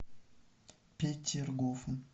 петергофом